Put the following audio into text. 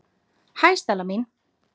Hæ, Stella mín.